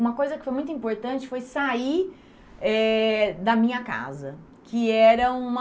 Uma coisa que foi muito importante foi sair eh da minha casa, que era uma...